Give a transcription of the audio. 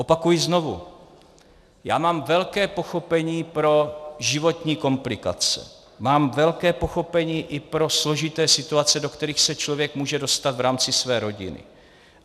Opakuji znovu, já mám velké pochopení pro životní komplikace, mám velké pochopení i pro složité situace, do kterých se člověk může dostat v rámci své rodiny.